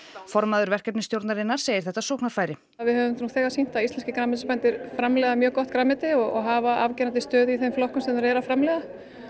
formaður verkefnisstjórnarinnar segir þetta sóknarfæri við höfum nú þegar sýnt að íslenskir grænmetisbændur framleiða mjög gott grænmeti og hafa afgerandi stöðu í þeim flokkum sem þeir eru að framleiða